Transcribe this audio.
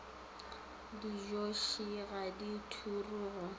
dijotše ga di ture go